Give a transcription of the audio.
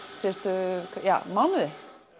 síðustu mánuði